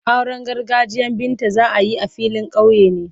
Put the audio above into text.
Auren gargajiyan Binta za a yi a filin kauye ne.